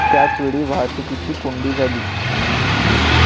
त्याचवेळी वाहतुकीची कोंडी झाली.